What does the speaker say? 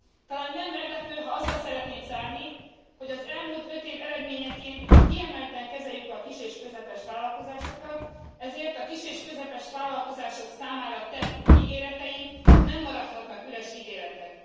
Talán nem meglepő, ha azzal szeretném zárni, hogy az elmúlt öt év eredményeként kiemelten kezeljük a kis és közepes vállalkozásokat, ezért a kis és közepes vállalkozások számára tett ígéreteink nem maradhatnak üres ígéretek.